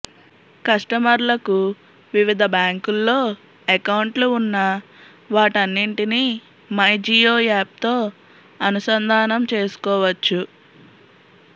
కస్టమర్లకు వివిధ బ్యాంకుల్లో అకౌంట్లు ఉన్నా వాటన్నింటినీ మైజియో యాప్తో అనుసంధానం చేసుకోవచ్చు